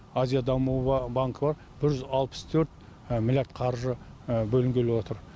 азия дамуы банкі бар бір жүз алпыс төрт миллиард қаржы бөлінгелі отыр